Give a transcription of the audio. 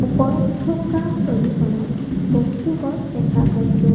ওপৰত থকা ছবিখনত বহুতো গছ দেখা পাইছোঁ।